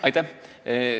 Aitäh!